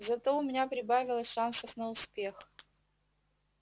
зато у меня прибавилось шансов на успех